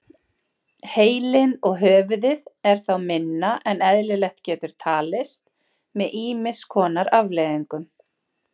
Heilinn og höfuðið er þá minna en eðlilegt getur talist með ýmis konar afleiðingum.